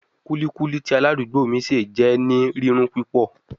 Kulikuli ti aladugbo mi ṣe jẹ ni rirun pupọ